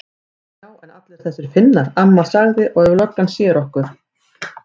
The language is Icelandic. Já en allir þessir Finnar. amma sagði. og ef löggan sér okkur.